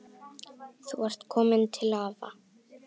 Þú ert komin til afa.